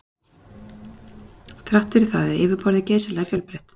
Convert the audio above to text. Þrátt fyrir það er yfirborðið geysilega fjölbreytt.